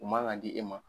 U man ka di e ma